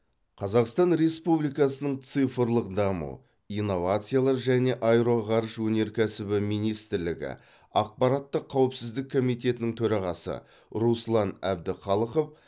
қазақстан республикасының цифрлық даму инновациялар және аэроғарыш өнеркәсібі министрлігі ақпараттық қауіпсіздік комитетінің төрағасы руслан әбдіқалықов